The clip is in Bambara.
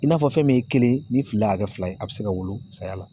I n'a fɔ fɛn min ye kelen ye ni fila y'a kɛ fila ye a bɛ se ka wolo saya la.